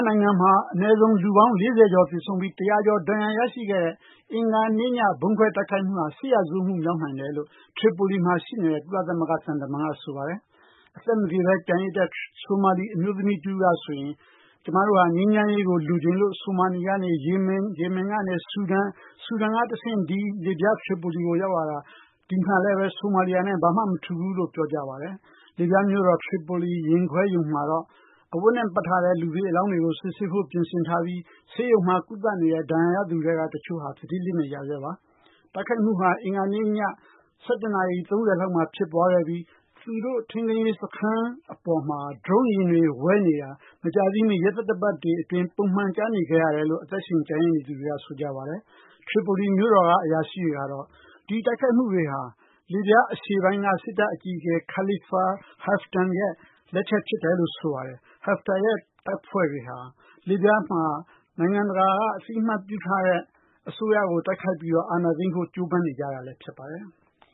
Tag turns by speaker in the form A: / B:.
A: နိုင်ငံမှာ အနည်းဆုံး လူပေါင်း ၄၀ ကျော် သေဆုံးပြီး ၁၀၀ ကျော် ဒဏ်ရာ ရရှိခဲ့တဲ့ အင်္ဂါနေ့ည ဗုံးခွဲ တိုက်ခိုက်မှုဟာ စစ်ရာဇဝတ်မှု မြောက်နိုင်တယ်လို့ ထရီပိုလီမှာ ရှိနေတဲ့ ကုလသမဂ္ဂ သံတမန်က ဆိုပါတယ်။ အသက်မသေဘဲ ကျန်ရစ်တဲ့ ဆိုမာလီ အမျိုးသမီး တဦးက ဆိုရင် ကျမတို့က ငြိမ်းချမ်းရေးကို လိုချင်လို့ ဆိုမာလီကနေ ယီမင်၊ ယီမင်ကနေ ဆူဒန်၊ ဆူဒန်ကနေ တဆင့် ဒီ လစ်ဗျားနိုင်ငံထရီပိုလီကို ရောက်လာတာ။ ဒီမှာလည်းဘဲ ဆိုမာလီယာနဲ့ ဘာမှ မထူးဘူးလို့ ပြောကြားပါတယ်။ လစ်ဗျားမြို့တော် ထရီပိုလီ ရင်ခွဲရုံမှာတော့ အဝတ်နဲ့ ပတ်ထားတဲ့ လူသေအလောင်းတွေကို စစ်ဆေးဖို့ ပြင်ဆင်ထားပြီး ဆေးရုံမှာ ကုသနေတဲ့ ဒဏ်ရာရသူတွေထဲက တချို့ဟာ သတိလစ်နေကြဆဲပါ။ တိုက်ခိုက်မှုဟာ အင်္ဂါနေ့ည ၁၁ နာရီ ၃၀ မိနစ်လောက်မှာ ဖြစ်ပွားခဲ့ပြီး သူတို့ ထိန်းသိမ်းရေး စခန်း အပေါ်မှာ ဒရုန်းယာဉ်တွေ ဝဲနေတာ မကြာသေးမီ ရသတ္တပတ်တွေ အတွင်း ပုံမှန် ကြားနေခဲ့ရတယ်လို့ အသက်ရှင် ကျန်ရစ်နေသူတွေက ဆိုကြပါတယ်။ ထရီပိုလီ မြို့တော်က အရာရှိတွေကတော့ ဒီတိုက်ခိုက်မှုတွေက လစ်ဗျား အရှေ့ပိုင်းက စစ်တပ် အကြီးအကဲ Khalifa Haftar ရဲ့ လက်ချက် ဖြစ်တယ်လို့ ဆိုပါတယ်။ Haftar ရဲ့ တပ်ဖွဲ့တွေဟာ လစ်ဗျားမှာ နိုင်ငံတကာက အသိအမှတ်ပြုထားတဲ့ အစိုးရကို တိုက်ခိုက်ပြီးတော့ အာ
B: ဏာသိမ်းဖို့ ကြိုးပမ်းနေကြတာလည်း ဖြစ်ပါတယ်။